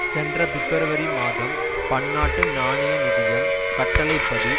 சென்ற பிப்ரவரி மாதம் பன்னாட்டு நாணய நிதியம் கட்டளை படி